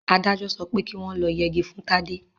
Adájọ sọpẹ́ ki wọ́n lọ yegi fún Tádé.